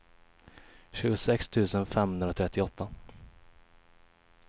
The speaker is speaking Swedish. tjugosex tusen femhundratrettioåtta